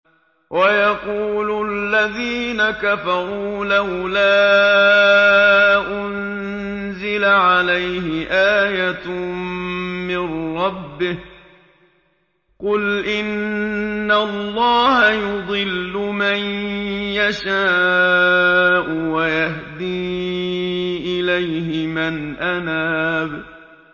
وَيَقُولُ الَّذِينَ كَفَرُوا لَوْلَا أُنزِلَ عَلَيْهِ آيَةٌ مِّن رَّبِّهِ ۗ قُلْ إِنَّ اللَّهَ يُضِلُّ مَن يَشَاءُ وَيَهْدِي إِلَيْهِ مَنْ أَنَابَ